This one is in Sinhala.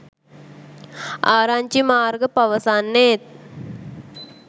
ආරංචි මාර්ග පවසන්නේ